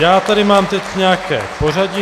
Já tady mám teď nějaké pořadí.